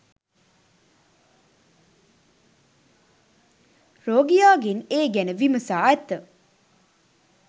රෝගියාගෙන් ඒ ගැන විමසා ඇත.